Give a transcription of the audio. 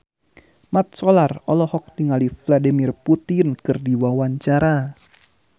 Mat Solar olohok ningali Vladimir Putin keur diwawancara